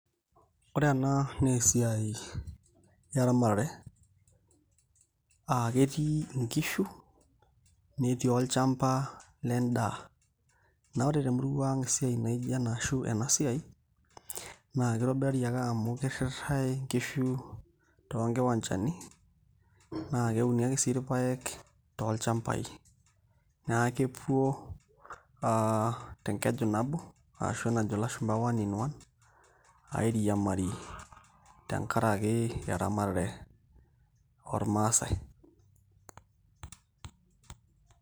Ore ena naa esiai eramatare ah ketii inkishu netii olchamba ledaa naa wore te murua ang esiai naaijo ena ashu ena siai naa kitobirari ake amu kiritae inkishu too kiwanjani naa keuni ake sii irpaek tolchambai naa kepwo te nkeju nabo ashu najo ilasumba one in one airiamari te nkaraki eramatare oo irmasaae .